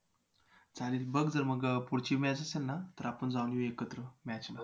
चालेल बघ जर मग पुढची match असेल ना तर आपण जाऊन येऊया एकत्र match ला